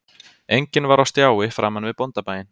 Enginn var á stjái framan við bóndabæinn